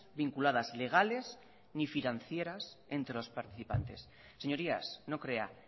vinculadas legales ni financieras entre los participantes señorías no crea